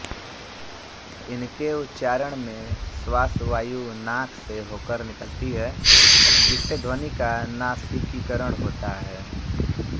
इनके उच्चारण में श्वासवायु नाक से होकर निकलती है जिससे ध्वनि का नासिकीकरण होता है